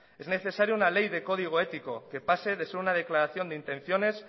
es necesario una ley de código ético que pase de ser una declaración de intenciones